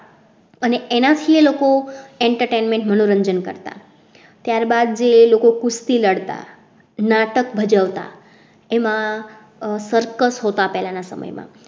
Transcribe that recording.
અને એનાથી એ લોકો entertainment મનોરંજન કરતા ત્યારબાદ જે લોકો કુસ્તી લડતા નાટક ભજવતા એમાં circus હોતા પહેલા ના સમય માં